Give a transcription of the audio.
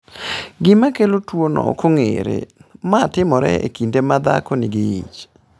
Gima kelo tuwono ok ong’ere, ma timore e kinde ma dhako nigi ich.